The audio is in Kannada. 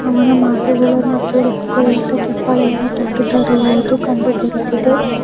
ಅವನ ಮಾತುಗಳನ್ನು ಕೇಳಿಸಿಕೊಳ್ಳೋಕೆ ಚಪ್ಪಾಳೆಯನ್ನು ತಟ್ಟುತರುವುದು ಕಂಡು ಬರುತ್ತಿದೆ.